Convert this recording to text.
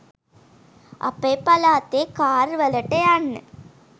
අපේ පලාතේ කාර් වලට යන්න